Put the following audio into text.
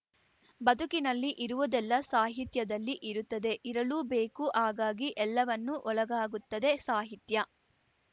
ಬದುಕಿನಲ್ಲಿ ಇರುವುದೆಲ್ಲ ಸಾಹಿತ್ಯದಲ್ಲಿ ಇರುತ್ತದೆ ಇರಲೂಬೇಕು ಹಾಗಾಗಿ ಎಲ್ಲವನ್ನೂ ಒಳಗಾಗುತ್ತದೆ ಸಾಹಿತ್ಯ